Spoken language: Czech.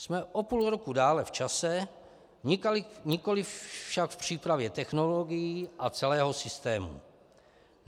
Jsme o půl roku dále v čase, nikoliv však v přípravě technologií a celého systému.